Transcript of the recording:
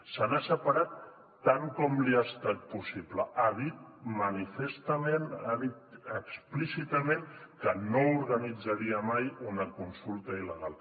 se n’ha separat tant com li ha estat possible ha dit manifestament ha dit explícitament que no organitzaria mai una consulta il·legal